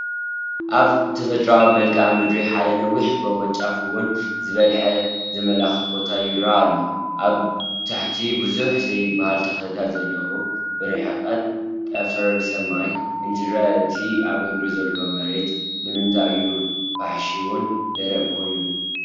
ኣብ ተፈጥራኣዊ መልክኣ ምድሪ ሓደ ነዊሕ ጎቦ ጫፉ ውን ዝበለሐ ዘመላኸት ቦታ ይራኣይ ኣሎ፡፡ ኣብ ታሕቱ ብዙሕ ዘይባሃል ተኽልታት ዘለውዎ ብርሕቐት ጠፈር ሰማይ እንትረአ እቲ ኣብ እግሪ ዘሎ መሬት ንምታይ እዩ ፋሕሻውን ደረቕን ኮይኑ?